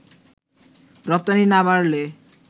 রপ্তানি না বাড়লে